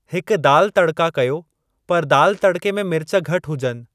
हिकु दाल तड़का कयो पर दाल तड़के में मिर्च घटि हुजनि।